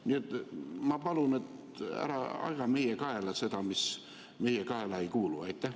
Nii et ma palun: ära aja meie kaela seda, mis meie kaela ei kuulu!